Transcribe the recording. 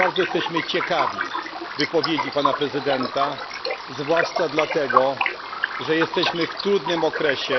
bardzo jesteśmy ciekawi wypowiedzi prezydenta Polski, zwłaszcza dlatego, że jesteśmy w trudnym okresie.